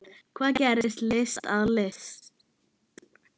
Hvað gerir list að list?